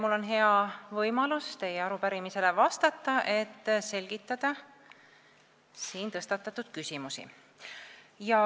Mul on hea võimalus teie arupärimisele vastata, et selgitada siin tõstatatud küsimusi.